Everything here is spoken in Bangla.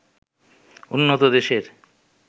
উন্নত দেশের